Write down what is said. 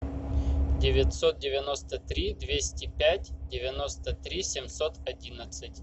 девятьсот девяносто три двести пять девяносто три семьсот одинадцать